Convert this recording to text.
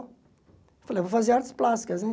Eu falei, eu vou fazer artes plásticas, né?